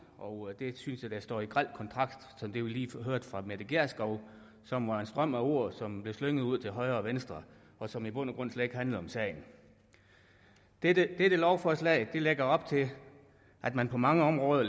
og det synes jeg står i grel kontrast til det vi lige hørte fra fru mette gjerskov som var en strøm af ord som blev slynget ud til højre og venstre og som i bund og grund slet ikke handlede om sagen dette dette lovforslag lægger op til at man på mange områder